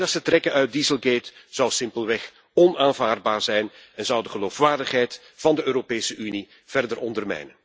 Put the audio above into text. Geen lessen trekken uit dieselgate zou simpelweg onaanvaardbaar zijn en zou de geloofwaardigheid van de Europese Unie verder ondermijnen.